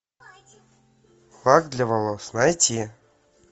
лак для волос найти